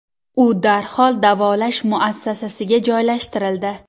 U darhol davolash muassasasiga joylashtirildi.